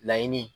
Laɲini